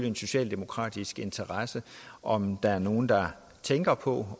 en socialdemokratisk interesse om der er nogle der tænker på